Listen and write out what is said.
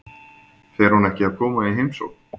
Fer hún ekki að koma í heimsókn?